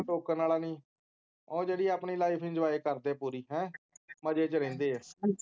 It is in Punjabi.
ਕੋਈ ਟੋਕਣ ਵਾਲਾ ਨਹੀਂ ਉਹ ਜਿਹੜੇ ਆਪਣੀ ਲਾਈਫ ਇੰਜੋਯ ਕਰਦੇ ਪੂਰੀ ਮਜ਼ੇ ਚ ਰਹਿੰਦੇ ਹੈਂ